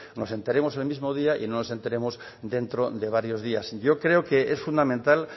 nos enteremos en el mismo día y no nos enteremos dentro de varios días yo creo que es fundamental